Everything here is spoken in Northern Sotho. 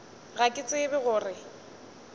ga ke tsebe go re